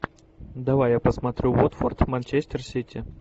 давай я посмотрю уотфорд манчестер сити